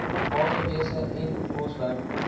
waterwese en bosbou